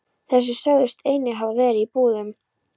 Þeir sögðust einnig hafa verið í búðum.